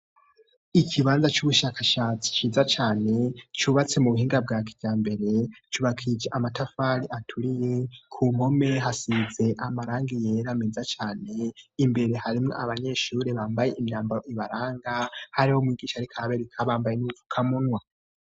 Ikibanza c'ubushakashatsi ciza cane cubatse mu buhinga bwa kijambere, cubakishwije amatafari aturiye. Ku mpome hasize amarangi yera meza cane. Imbere harimwo abanyeshuri bambaye imyambaro ibaranga, hariho n'umwigisha ariko arabereka bambaye n'udupfukamunwa.